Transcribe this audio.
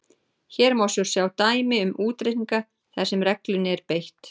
Hér má svo sjá dæmi um útreikninga þar sem reglunni er beitt: